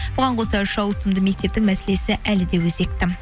бұған қоса үш ауысымды мектептің мәселесі әлі де өзекті